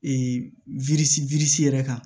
yɛrɛ kan